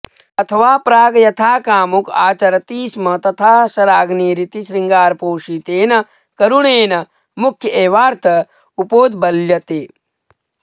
अथवा प्राक् यथा कामुक आचरति स्म तथा शराग्निरिति शृङ्गारपोषितेन करुणेन मुख्य एवार्थ उपोद्बल्यते